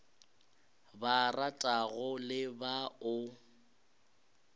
ba ratago le ba o